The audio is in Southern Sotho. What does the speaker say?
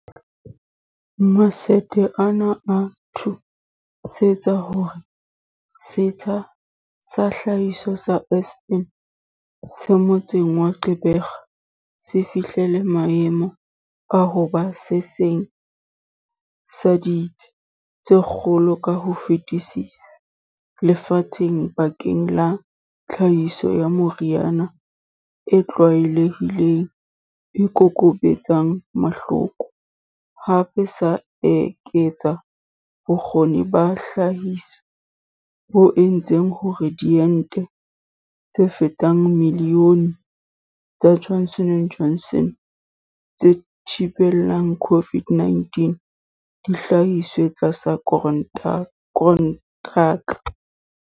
Matsete ana a thu sitse hore setsha sa tlhahiso sa Aspen se motseng wa Gqeberha se fihlele maemo a ho ba se seng sa ditsi tse kgolo ka ho fetisisa lefatsheng bakeng la tlhahiso ya meriana e tlwaelehileng e kokobetsang mahloko, hape sa eketsa bo kgoni ba tlhahiso bo entseng hore diente tse fetang milione tsa Johnson and Johnson tse thibelang COVID-19 di hlahiswe tlasa kontraka.